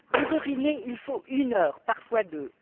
Pour uriner, il faut une heure, parfois deux.